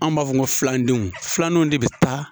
Anw b'a fɔ ko filan denw . Filan denw de be taa.